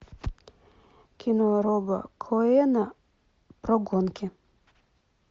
кино роба коэна про гонки